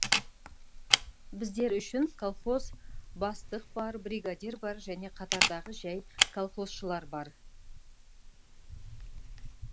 біздер үшін колхоз бастық бар бригадир бар және қатардағы жәй колхозшылар бар